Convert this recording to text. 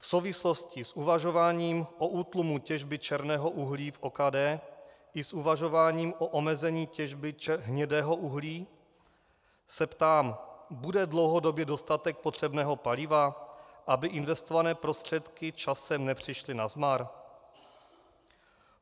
V souvislosti s uvažováním o útlumu těžby černého uhlí v OKD i s uvažováním o omezení těžby hnědého uhlí se ptám: Bude dlouhodobě dostatek potřebného paliva, aby investované prostředky časem nepřišly nazmar?